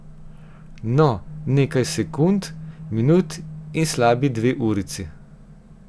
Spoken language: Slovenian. No, nekaj sekund, minut in slabi dve urici.